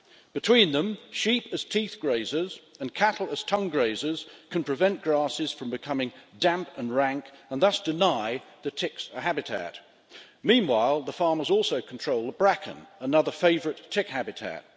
Between them, sheep as teeth grazers and cattle as tongue grazers can prevent grasses from becoming damp and rank and thus deny the ticks a habitat. Meanwhile, the farmers also control the bracken, another favourite tick habitat.